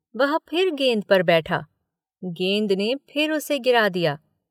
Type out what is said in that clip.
वह फिर गेंद पर बैठा, गेंद ने फिर उसे गिरा दिया।